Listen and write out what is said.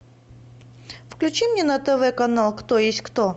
включи мне на тв канал кто есть кто